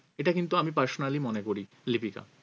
এটা কিন্তু আমি personally মনে করি লিপিকা